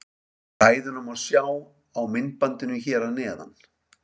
Ræðuna má sjá á myndbandinu hér að neðan.